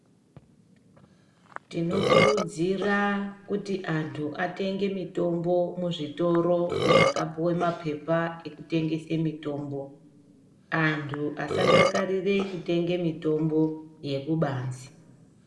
Tinokurudsira kuti antu atenge mitombo muzvitoro zvakapuwe mapepa ekutengese mutombo antu asadakarire kutenge mitombo yekubanze.